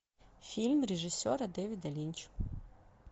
фильм режиссера дэвида линча